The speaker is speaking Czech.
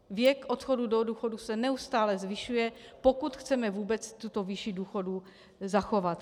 Věk odchodu do důchodu se neustále zvyšuje, pokud chceme vůbec tuto výši důchodů zachovat.